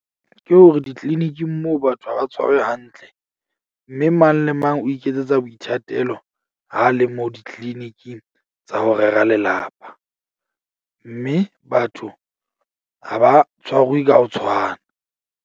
Ke hore di-clinic-ing moo batho ha ba tshwarwe hantle. Mme mang le mang o iketsetsa boithatelo ha le mo di-clinic-ing tsa ho rera lelapa, mme batho ha ba tshwarwe ka ho tshwana.